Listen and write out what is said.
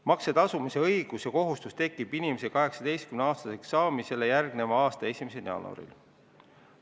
Makse tasumise õigus ja kohustus tekib inimesel 18-aastaseks saamisele järgneva aasta 1. jaanuaril.